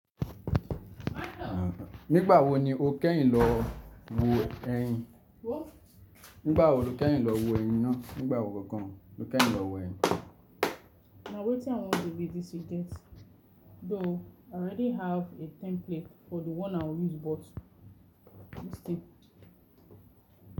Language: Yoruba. Nígbà wo ni o kẹ́yin lọ wo ẹyin? Nígbà wo lo kẹ́yin lọ wo ẹyin náà? Nígbà wo kọ́ gan-an lo kẹ́yin lọ wo ẹyin? Na wétin I want the video to get. Though I already have a template for the one I will use, but let's see.